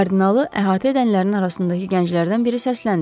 Kardinalı əhatə edənlərin arasındakı gənclərdən biri səsləndi.